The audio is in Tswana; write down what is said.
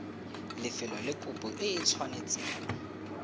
lefelo le kopo e tshwanetseng